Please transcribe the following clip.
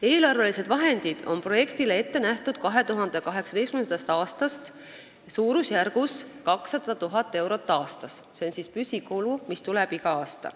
Eelarvelised vahendid on projektile ette nähtud 2018. aastast suurusjärgus 200 000 eurot aastas, see on püsikulu, mis tekib igal aastal.